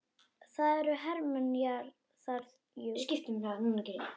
Það eru hermenn þar, jú.